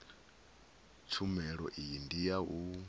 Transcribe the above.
tshumelo iyi ndi ya u